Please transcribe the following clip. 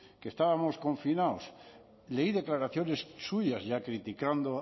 que estábamos confinados leí declaraciones suyas ya criticando